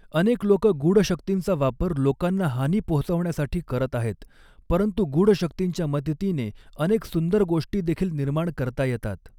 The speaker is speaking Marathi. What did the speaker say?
अनेक लोकं गूढशक्तींचा वापर लोकांना हानी पोहोचवण्यासाठी करत आहेत परंतु गूढ शक्तींच्या मदतीने अनेक सुंदर गोष्टी देखील निर्माण करता येतात.